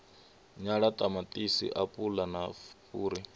nyala ṱamaṱisi apula na fhuri